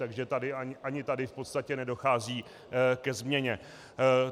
Takže ani tady v podstatě nedochází ke změně.